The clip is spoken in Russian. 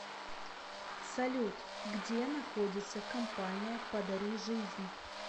салют где находится компания подари жизнь